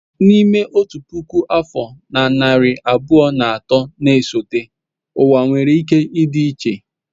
N'ime otu puku afọ na narị abụọ na atọ na-esote ụwa nwere ike ịdị iche.